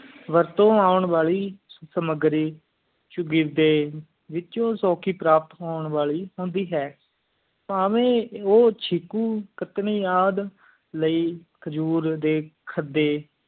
ਵਰਤੋਂ ਊਂ ਵਾਲੀ ਸਮਗਰੋ ਸ਼ੌਂਗੀਰਡੀ ਵਿੱਚੋ ਸੂਖੀ ਪ੍ਰਾਪਤ ਹੋਣੀ ਵਾਲੀ ਹੈ ਪਾਵਈ ਊ ਚਿਕੋ ਘਜਰੀ ਯਾਦ ਲਈ ਖਾਜੋਰ ਦਾਸੀ ਖਾੜੀ